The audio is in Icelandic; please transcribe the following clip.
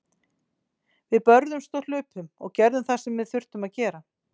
Við börðumst og hlupum og gerðum það sem við þurftum að gera.